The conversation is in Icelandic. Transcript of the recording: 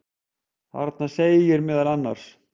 Þarna segir meðal annars: